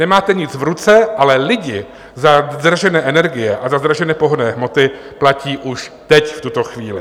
Nemáte nic v ruce, ale lidi za zdražené energie a za zdražené pohonné hmoty platí už teď, v tuto chvíli.